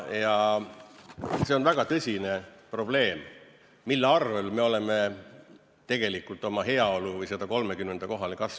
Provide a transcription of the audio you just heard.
See on väga tõsine probleem, mille arvel me oleme tegelikult oma heaoluni kasvanud või sellele 30. kohale jõudnud.